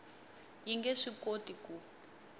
yi nge swi koti ku